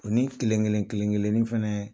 O ni kelen kelen kelen- kelenni fɛnɛ